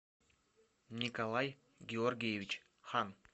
николай георгиевич хан